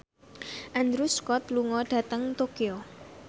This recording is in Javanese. Andrew Scott lunga dhateng Tokyo